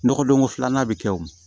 Nɔgɔdonko filanan bɛ kɛ o